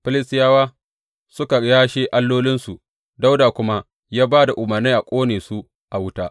Filistiyawa suka yashe allolinsu, Dawuda kuma ya ba da umarnai a ƙone su a wuta.